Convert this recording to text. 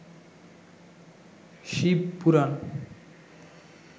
Shiva Purana